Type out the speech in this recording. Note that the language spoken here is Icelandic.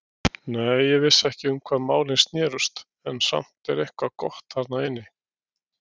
Nei, ég vissi ekki um hvað málin snerust, en samt var eitthvað gott þarna inni.